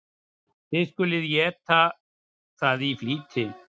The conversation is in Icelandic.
Þér skuluð eta það í flýti.